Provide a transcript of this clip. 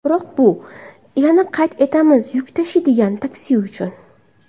Biroq bu, yana qayd etamiz, yuk tashiydigan taksi uchun.